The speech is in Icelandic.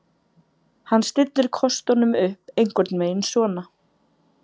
Hann stillir kostunum upp einhvern veginn svona: